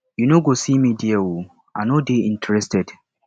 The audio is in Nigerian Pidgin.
you no go see me there oo i no dey interested